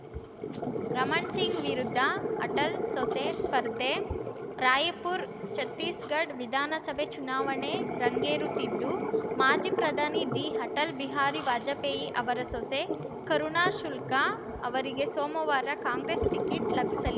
ರಮಣ್‌ ಸಿಂಗ್‌ ವಿರುದ್ಧ ಅಟಲ್‌ ಸೊಸೆ ಸ್ಪರ್ಧೆ ರಾಯ್‌ಪುರ ಛತ್ತೀಸ್‌ಗಡ್ ವಿಧಾನಸಭೆ ಚುನಾವಣೆ ರಂಗೇರುತ್ತಿದ್ದು ಮಾಜಿ ಪ್ರಧಾನಿ ದಿ ಅಟಲ್‌ ಬಿಹಾರಿ ವಾಜಪೇಯಿ ಅವರ ಸೊಸೆ ಕರುಣಾ ಶುಲ್ಕಾ ಅವರಿಗೆ ಸೋಮವಾರ ಕಾಂಗ್ರೆಸ್‌ ಟಿಕೆಟ್‌ ಲಭಿಸಿ